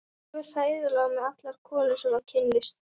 Hann fer alveg hræðilega með allar konur sem hann kynnist.